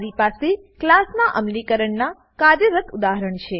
મારી પાસે ક્લાસનાં અમલીકરણનાં કાર્યરત ઉદાહરણ છે